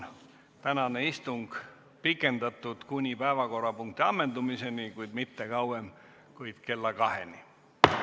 Tänane istung pikendatud kuni päevakorrapunkti ammendumiseni, kuid mitte kauem kui kella 2-ni.